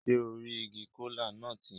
Se o ri igi kola-nut yẹn?